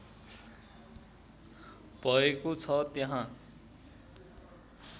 भएको छ त्यहाँ